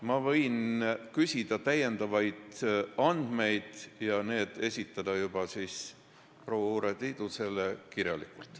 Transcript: Ma võin küsida täiendavaid andmeid ja esitada need proua Urve Tiidusele kirjalikult.